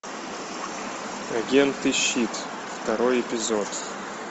агенты щит второй эпизод